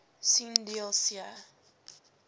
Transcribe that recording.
sien deel c